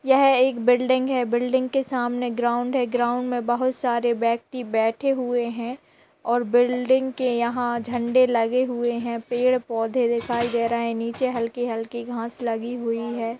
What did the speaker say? यह एक बिल्डिंग है। बिल्डिंग के सामने ग्राउन्ड है। ग्राउन्ड में बहुत सारे व्यक्ति बैठे हुए हैं और बिल्डिंग के यहाँ झंडे लगे हुए हैं। पेड़ पौधे दिखाई दे रहे हैं। नीचे हल्की-हल्की घास लगी हुई है।